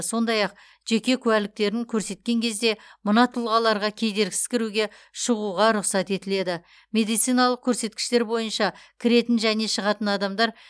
сондай ақ жеке куәліктерін көрсеткен кезде мына тұлғаларға кедергісіз кіруге шығуға рұқсат етіледі медициналық көрсеткіштер бойынша кіретін және шығатын адамдар